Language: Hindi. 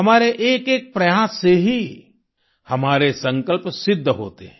हमारे एकएक प्रयास से ही हमारे संकल्प सिद्ध होते हैं